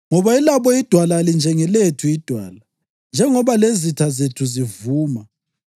Ngoba elabo idwala alinjengelethu iDwala, njengoba lezitha zethu zivuma.